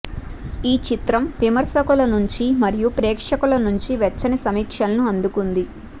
ఈ చిత్రం విమర్శకుల నుంచి మరియు ప్రేక్షకుల నుంచి వెచ్చని సమీక్షలను అందుకుంది